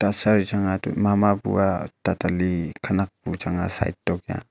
eya sir chang a mama bua tatali khenak bu chang a side tokia.